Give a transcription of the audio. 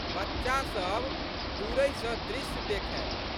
बच्चासब दूरहि सँ दृश्य देखए।